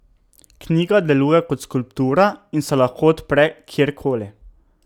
Knjiga deluje kot skulptura in se lahko odpre kjerkoli.